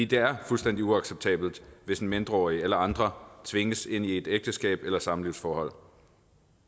det er fuldstændig uacceptabelt hvis en mindreårig eller andre tvinges ind i et ægteskab eller samlivsforhold